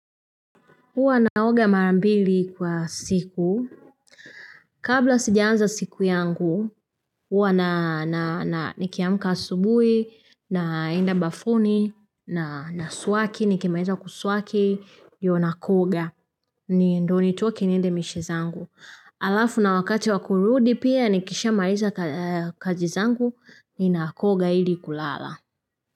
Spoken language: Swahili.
Huwa naoga mara mbili kwa siku. Kabla sijaanza siku yangu, huwa na na na nikiamka asubuhi, naenda bafuni, na na swaki, nikimaliza kuswaki, ndiyo na koga. Ni ndio nitoke niende mishe zangu. Alafu na wakati wa kurudi pia nikisha maliza kazi zangu, ninakoga ili kulala.